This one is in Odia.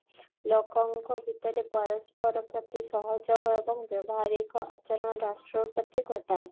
ଲୋକଙ୍କ ଭୀତରେ ପରସ୍ପର ପ୍ରତି ସହଯୋଗ ଏବଂ ବ୍ୟବହାରିକ ଆଚରଣ ରାଷ୍ଟ୍ର ପ୍ରତି ଘଟାଏ